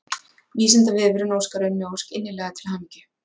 Vísindavefurinn óskar Unni Ósk innilega til hamingju.